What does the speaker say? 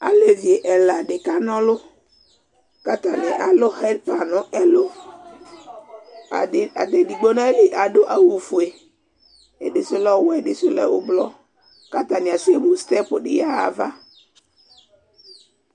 Alevi ɛla di kanɔlʋKatani alʋ hɛpan nʋ ɛlʋAdi, edigbo nayili adʋ awu fue, ɛɖi su lɛ ɔwɛ, ɛdi su lɛ ublɔKatani asɛ mu stɛp di yaɣa ava